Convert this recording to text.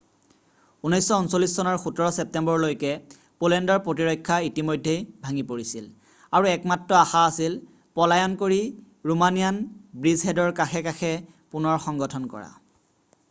1939 চনৰ 17 ছেপ্তেম্বৰলৈকে পোলেণ্ডৰ প্ৰতিৰক্ষা ইতিমধ্যেই ভাঙি পৰিছিল আৰু একমাত্ৰ আশা আছিল পলায়ন কৰি ৰোমানিয়ান ব্ৰীজহেডৰ কাষে কাষে পুনৰ সংগঠন কৰা